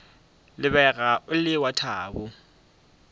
lebega o le wa thabo